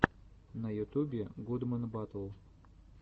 на ютубе гудмэн батл